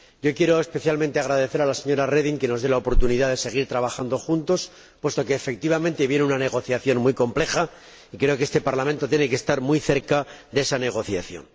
Quiero agradecer especialmente a la señora Reding que nos dé la oportunidad de seguir trabajando juntos puesto que, efectivamente, viene una negociación muy compleja y creo que este Parlamento tiene que estar muy cerca de esa negociación.